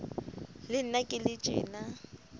le nna ke le tjena